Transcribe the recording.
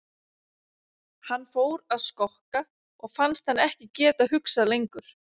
Hann fór að skokka og fannst hann ekki geta hugsað lengur.